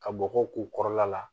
Ka bɔgɔ k'u kɔrɔla la